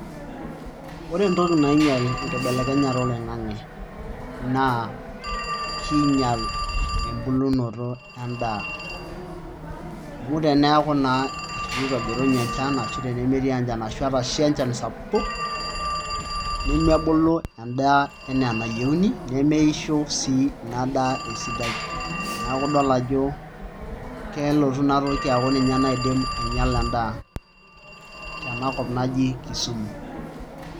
Ore entoki nainyial inkibelekenyat oloing'ang'e naa kiinyial embulunoto endaa amu teneeku naa itu itobirunye enchan ashu tenemetii enchan ashu etasha enchan sapuk nemebulu endaa ena enayieuni, nemeisho sii ina daa esidai neeku idol ajo kelotu ina toki aaku ninye naidim ainyiala endaa tenakop naji Kisumu.